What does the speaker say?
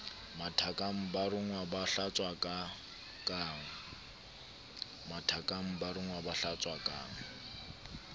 mathakang ba rongwa ba hlatswakang